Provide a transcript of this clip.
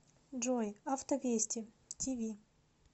джой авто вести ти ви